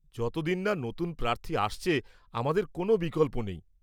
যতদিন না নতুন প্রার্থী আসছে, আমাদের কোন বিকল্প নেই।